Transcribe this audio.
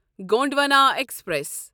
Gondwana express